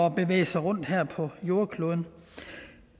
at bevæge sig rundt her på jordkloden